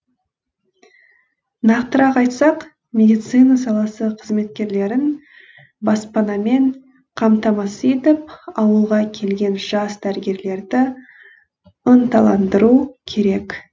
нақтырақ айтсақ медицина саласы қызметкерлерін баспанамен қамтамасыз етіп ауылға келген жас дәрігерлерді ынталандыру керек